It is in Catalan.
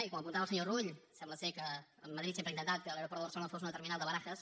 i com apuntava el senyor rull sembla que madrid sempre ha intentat que l’aeroport de barcelona fos una terminal de barajas